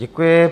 Děkuji.